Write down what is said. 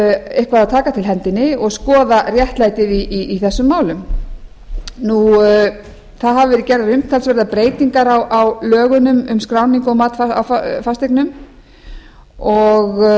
eitthvað að taka til hendinni og skoða réttlætið í þessum málum það hafa verið gerðar umtalsverðar breytingar á lögunum um skráningu og mat fasteigna og